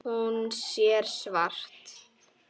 Hún sér svart.